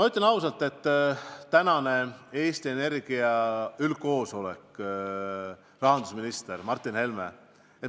Tänane Eesti Energia üldkoosolek on rahandusminister Martin Helme.